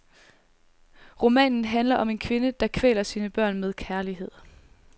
Romanen handler om en kvinde, der kvæler sine børn med kærlighed.